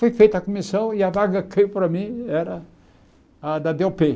Foi feita a comissão e a vaga caiu para mim era a da dê ó pê